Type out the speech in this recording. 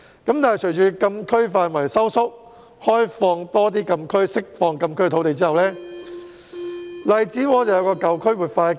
但是，隨着禁區範圍縮小，在政府開放更多禁區和釋放禁區土地之後，荔枝窩出現了活化的機遇。